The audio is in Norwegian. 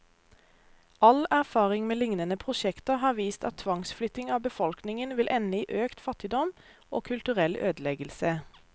All erfaring med lignende prosjekter har vist at tvangsflytting av befolkningen vil ende i økt fattigdom, og kulturell ødeleggelse.